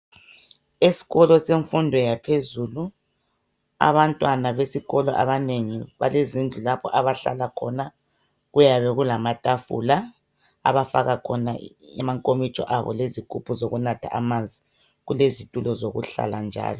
Eskolo semfundo yaphezulu abantwana besikolo abanengi balezindlu lapho abahlala khona, kuyabe kulamatafula abafaka khona i amankomitsho kanye lezigubhu zokunatha amanzi kulezitulo zokuhlala njalo.